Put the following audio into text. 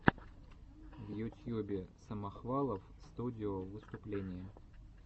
в ютьюбе самохвалов студио выступление